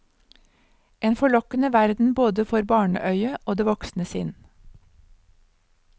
En forlokkende verden både for barneøyet og det voksne sinn.